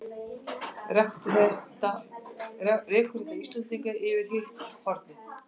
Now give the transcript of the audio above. Rekur þetta Íslendinga yfir í hitt hornið?